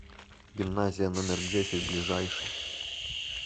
гимназия номер десять ближайший